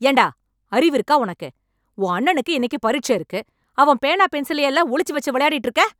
ஏன் டா! அறிவு இருக்கா உனக்கு? உன் அண்ணனுக்கு இன்னைக்கு பரிட்ச இருக்கு. அவன் பேனா, பென்சிலையெல்லாம் ஒளிச்சு வெச்சு விளையாடிட்டு இருக்க!